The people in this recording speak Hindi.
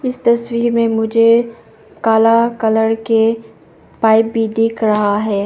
इस तस्वीर में मुझे कला कलर के पाइप भी दिख रहा है।